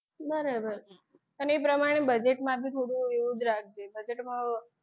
બરાબર અને એ પ્રમાણે budget માં બી થોડું એવું જ રાખજે budget માં,